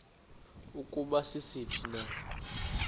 ukuba sisiphi na